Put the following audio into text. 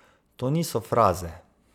To niso fraze.